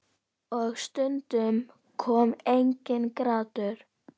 Og stundum kom enginn grátur.